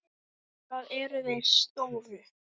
Það eru þeir stóru.